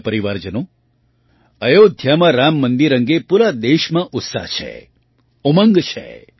મારા પરિવારજનો અયોધ્યામાં રામ મંદિર અંગે પૂરા દેશમાં ઉત્સાહ છે ઉમંગ છે